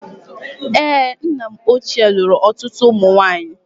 Èé, nna m ochie lụrụ ọtụtụ ụmụ nwaanyị.